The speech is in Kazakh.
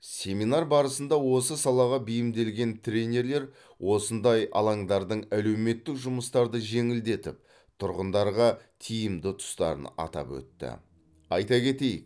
семинар барысында осы салаға бейімделген тренерлер осындай алаңдардың әлеуметтік жұмыстарды жеңілдетіп тұрғындарға тиімді тұстарын атап өтті айта кетейк